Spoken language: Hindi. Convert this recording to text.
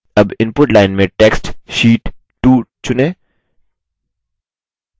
अब input line में text sheet 2 चुनें